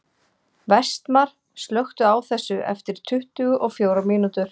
Vestmar, slökktu á þessu eftir tuttugu og fjórar mínútur.